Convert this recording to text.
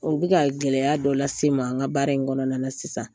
U bɛ ka gɛlɛya dɔ lase n ma n ka baara in kɔnɔna na sisan.